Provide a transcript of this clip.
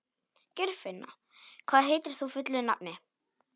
Geirfinna, hvað heitir þú fullu nafni?